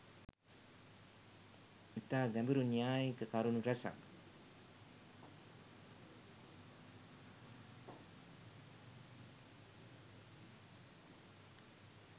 ඉතා ගැඹුරු න්‍යායික කරුණු රැසක්